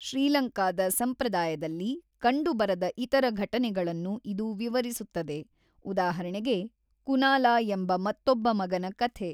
ಶ್ರೀಲಂಕಾದ ಸಂಪ್ರದಾಯದಲ್ಲಿ ಕಂಡುಬರದ ಇತರ ಘಟನೆಗಳನ್ನು ಇದು ವಿವರಿಸುತ್ತದೆ, ಉದಾಹರಣೆಗೆ ಕುನಾಲಾ ಎಂಬ ಮತ್ತೊಬ್ಬ ಮಗನ ಕಥೆ.